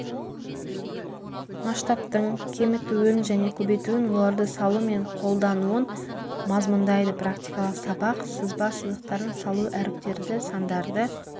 масштабтың кемітуін және көбейтуін оларды салу мен қолдануын мазмұндайды практикалық сабақ сызба сызықтарын салу әріптерді сандарды